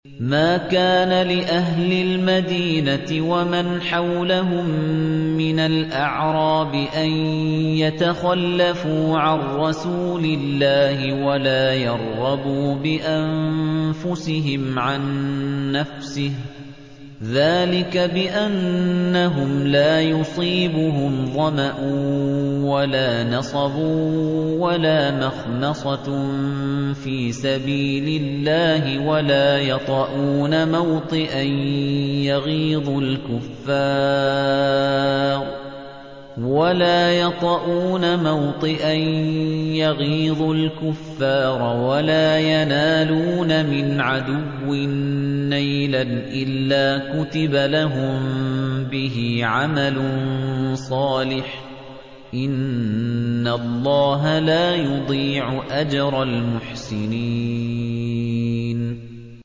مَا كَانَ لِأَهْلِ الْمَدِينَةِ وَمَنْ حَوْلَهُم مِّنَ الْأَعْرَابِ أَن يَتَخَلَّفُوا عَن رَّسُولِ اللَّهِ وَلَا يَرْغَبُوا بِأَنفُسِهِمْ عَن نَّفْسِهِ ۚ ذَٰلِكَ بِأَنَّهُمْ لَا يُصِيبُهُمْ ظَمَأٌ وَلَا نَصَبٌ وَلَا مَخْمَصَةٌ فِي سَبِيلِ اللَّهِ وَلَا يَطَئُونَ مَوْطِئًا يَغِيظُ الْكُفَّارَ وَلَا يَنَالُونَ مِنْ عَدُوٍّ نَّيْلًا إِلَّا كُتِبَ لَهُم بِهِ عَمَلٌ صَالِحٌ ۚ إِنَّ اللَّهَ لَا يُضِيعُ أَجْرَ الْمُحْسِنِينَ